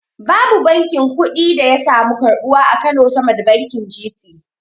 Babu bankin kuɗin da yasamu karbuwa a kano sama da bankin G.T